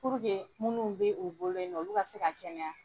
Puruke minnu bɛ o bolo yen nɔ olu ka se ka kɛnɛya,